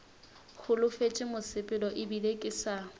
holofetše mosepelo ebile ke sa